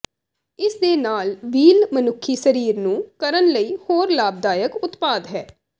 ਇਸ ਦੇ ਨਾਲ ਵੀਲ ਮਨੁੱਖੀ ਸਰੀਰ ਨੂੰ ਕਰਨ ਲਈ ਹੋਰ ਲਾਭਦਾਇਕ ਉਤਪਾਦ ਹੈ